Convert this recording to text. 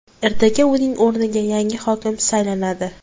Ertaga uning o‘rniga yangi hokim saylanadi.